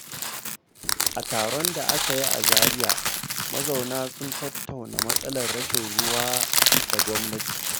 A taron da aka yi a Zariya, mazauna sun tattauna matsalar rashin ruwa da gwamnati.